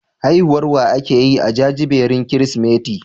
Haihuwar wa ake yi a jajibirin Kirsimeti?